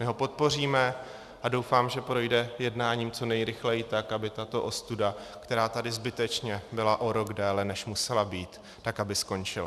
My ho podpoříme a doufám, že projde jednáním co nejrychleji tak, aby tato ostuda, která tady zbytečně byla o rok déle, než musela být, tak aby skončila.